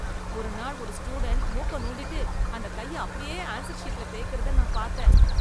ஒரு நாள் ஒரு ஸ்டூடென்ட் மூக்க நோண்டிட்டு அந்தக் கைய அப்படியே ஆன்சர் ஷீட்ல தேய்க்கிறத நான் பாத்தேன்.